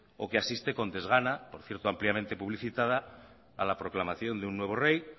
o que asiste con desgana por cierto ampliamente publicitada a la proclamación de un nuevo rey